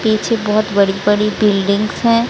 पीछे बहोत बड़ी बड़ी बिल्डिंग्स है।